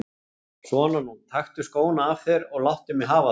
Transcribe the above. Svona nú, taktu skóna af þér og láttu mig hafa þá.